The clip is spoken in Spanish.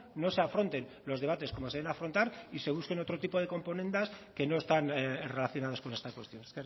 no se afronten los debates como se deben afrontar y se busquen otro tipo de componendas que no están relacionadas con esta cuestión